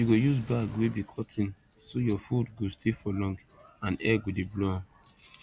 you go use bag wey be cotton so your food go stay for long and air go de blow am